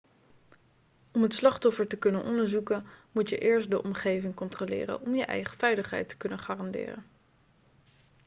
om het slachtoffer te kunnen onderzoeken moet je eerst de omgeving controleren om je eigen veiligheid te kunnen garanderen